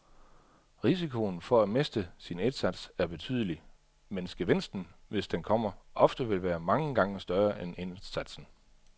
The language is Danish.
Risikoen for at miste sin indsats er betydelig, mens gevinsten, hvis den kommer, ofte vil være mange gange større end indsatsen.